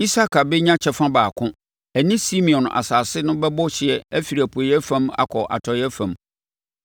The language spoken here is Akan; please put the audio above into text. Isakar bɛnya kyɛfa baako; ɛne Simeon asase no bɛbɔ hyeɛ afiri apueeɛ fam akɔ atɔeɛ fam.